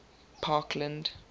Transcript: parkland